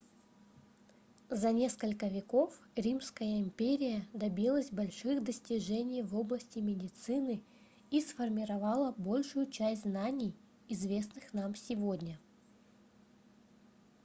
за несколько веков римская империя добилась больших достижений в области медицины и сформировала большую часть знаний известных нам сегодня